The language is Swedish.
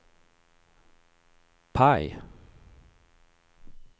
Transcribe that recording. PIE